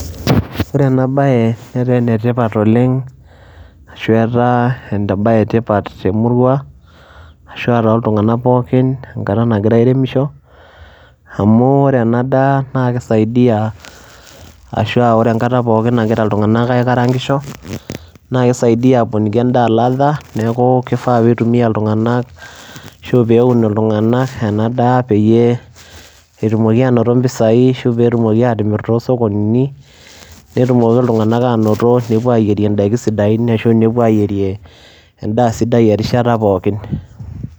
Ore ena baye netaa ene tipat oleng' ashu etaa embaye e tipat te murua ashu aa toltung'anak pookin enkata nagira airemisho amu ore ena daa naake isaidia ashu aa ore enkata pookin angira iltung'anak aikarang'isho naake isaidia aponiki endaa ladha. Neeku kifaa piitumia iltung'anak ashu peeun iltung'anak ena daa peyie etumoki aanoto mpisai ashu peetumoki aatimir too sokonini, netumoki iltung'anak aanoto nepuo aayierie ndaiki sidain ashu nepuo aayirie endaa sidai erishata pookin.